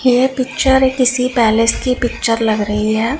यह पिक्चर किसी पैलेस की पिक्चर लग रही है।